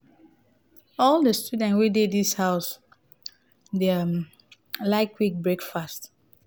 all di students wey dey dis house dem like quick breakfast.